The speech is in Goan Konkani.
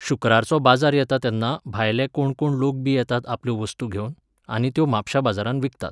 शुक्रारचो बाजार येता तेन्ना भायले कोणकोण लोकबी येतात आपल्यो वस्तू घेवन, आनी त्यो म्हापश्यां बाजारांत विकतात.